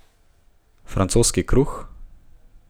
Francoski kruh?